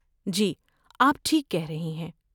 جی، آپ ٹھیک کہہ رہی ہیں۔